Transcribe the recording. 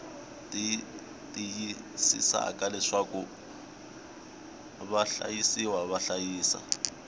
tiyisisaka leswaku vahlayisiwa va hlayisa